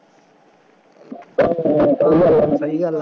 ਹਾਂ ਸਹੀ ਗੱਲ ਹੈ, ਸਹੀ ਗੱਲ ਹੈ